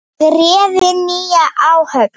og réðu nýja áhöfn.